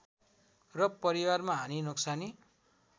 र परिवारमा हानि नोक्सानी